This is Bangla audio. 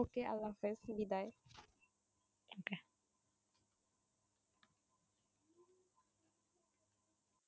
okay আল্লাহ হাফিস, বিদায়।